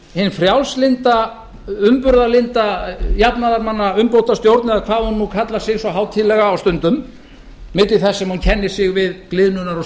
sjálfstæðisflokkurinn svona að nafninu til nei hin frjálslynda umburðarlynda jafnaðarmannaumbótastjórn eða hvað hún kallar sig svo hátíðlega á stundum jafnhliða því sem hún kennir sig við gliðnunar